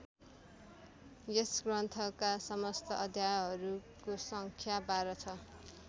यस ग्रन्थका समस्त अध्यायहरूको सङ्ख्या १२ छ।